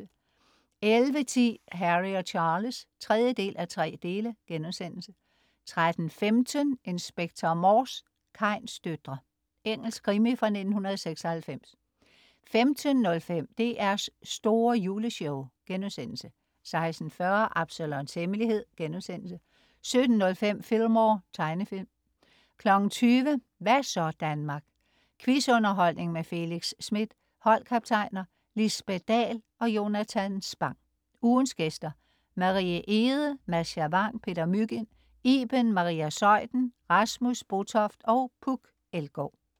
11.10 Harry og Charles 3:3* 13.15 Inspector Morse: Kains døtre. Engelsk krimi fra 1996 15.05 DR's store Juleshow* 16.40 Absalons Hemmelighed* 17.05 Fillmore. Tegnefilm 20.00 Hva' så Danmark? Quiz-underholdning med Felix Smith. Holdkaptajner: Lisbet Dahl og Jonatan Spang. Ugens gæster: Marie Egede, Mascha Vang, Peter Mygind, Iben Maria Zeuthen, Rasmus Botoft og Puk Elgård